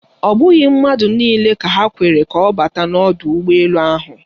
Ọ bụghị mmadụ niile ka ha kwere ka ọ bata n'ọdụ ụgbọ elu ahụ.